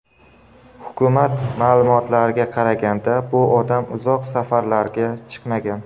Hukumat ma’lumotlariga qaraganda, bu odam uzoq safarlarga chiqmagan.